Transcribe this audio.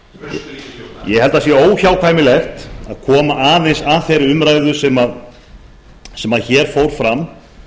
held að það sé óhjákvæmilegt að koma aðeins að þeirri umræðu sem hér fór fram